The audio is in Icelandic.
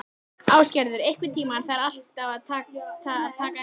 Ásgerður, einhvern tímann þarf allt að taka enda.